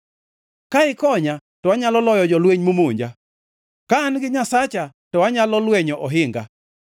Ka ikonya to anyalo loyo jolweny momonja; ka an gi Nyasacha to anyalo lwenyo ohinga.